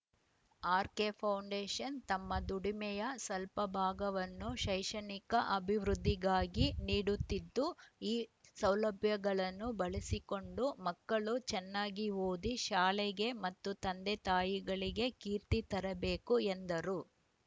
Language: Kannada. ಆರ್‌ಕೆಫೌಂಡೇಷನ್‌ ತಮ್ಮ ದುಡಿಮೆಯ ಸಲ್ಪ ಭಾಗವನ್ನು ಶೈಕ್ಷಣಿಕ ಅಭಿವೃದ್ಧಿಗಾಗಿ ನೀಡುತ್ತಿದ್ದು ಈ ಸೌಲಭ್ಯಗಳನ್ನು ಬಳಸಿಕೊಂಡು ಮಕ್ಕಳು ಚೆನ್ನಾಗಿ ಓದಿ ಶಾಲೆಗೆ ಮತ್ತು ತಂದೆತಾಯಿಗಳಿಗೆ ಕೀರ್ತಿ ತರಬೇಕು ಎಂದರು